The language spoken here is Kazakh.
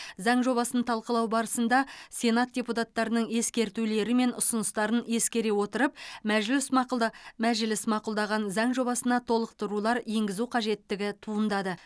заң жобасын талқылау барысында сенат депутаттарының ескертулері мен ұсыныстарын ескере отырып мәжіліс мақұлда мәжіліс мақұлдаған заң жобасына толықтырулар енгізу қажеттігі туындады